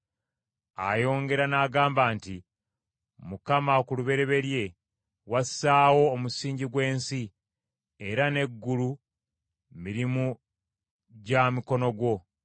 Ayongera n’agamba nti, “Mukama ku lubereberye wassaawo omusingi gw’ensi, era n’eggulu mirimu gwa mukono gwo.